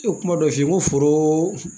kuma dɔ f'u ye n ko foro